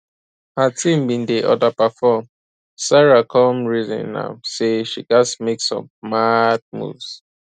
her team bin dey underperform sarah come reason am say she gats make some mad moves